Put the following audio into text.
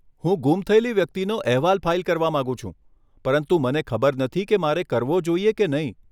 હું ગુમ થયેલી વ્યક્તિનો અહેવાલ ફાઇલ કરવા માંગુ છું પરંતુ મને ખબર નથી કે મારે કરવો જોઈએ કે નહીં.